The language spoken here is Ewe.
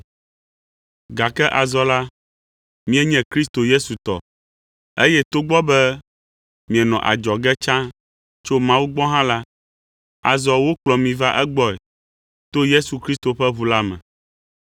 Gake azɔ la, mienye Kristo Yesu tɔ, eye togbɔ be mienɔ adzɔge ke tsã tso Mawu gbɔ hã la, azɔ wokplɔ mi va egbɔe, to Yesu Kristo ƒe ʋu la me.